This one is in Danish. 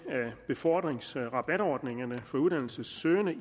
af befordringsrabatordningerne for uddannelsessøgende